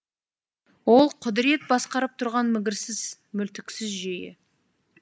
ол құдірет басқарып тұрған мігірсіз мүлтіксіз жүйе